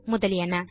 முதலியன